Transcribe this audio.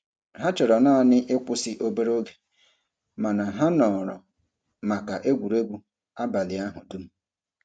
Ha chọrọ naanị ịkwụsị obere oge mana ha nọrọ maka egwuregwu abalị ahụ dum.